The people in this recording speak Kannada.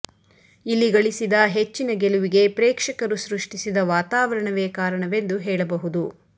ಇಲ್ಲಿ ಗಳಿಸಿದ ಹೆಚ್ಚಿನ ಗೆಲುವಿಗೆ ಪ್ರೇಕ್ಷಕರು ಸೃಷ್ಟಿಸಿದ ವಾತಾವರಣವೇ ಕಾರಣವೆಂದು ಹೇಳಬಹುದು